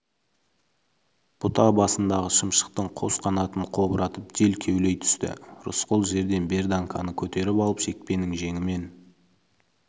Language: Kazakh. бұта басындағы шымшықтың қос қанатын қобыратып жел кеулей түсті рысқұл жерден берданканы көтеріп алып шекпеннің жеңімен